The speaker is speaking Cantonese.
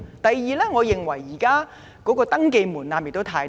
第二，我認為現時的登記門檻太低。